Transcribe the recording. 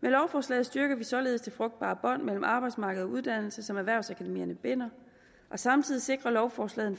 med lovforslaget styrkes således det frugtbare bånd mellem arbejdsmarked og uddannelse som erhvervsakademierne binder og samtidig sikrer lovforslaget